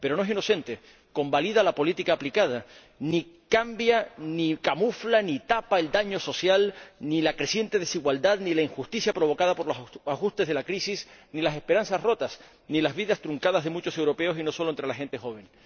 Pero no es inocente, convalida la política aplicada ni cambia, ni camufla, ni tapa el daño social, ni la creciente desigualdad, ni la injusticia provocada por los ajustes de la crisis, ni las esperanzas rotas, ni las vidas truncadas de muchos europeos, y no solo entre la gente joven.